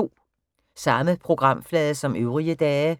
Samme programflade som øvrige dage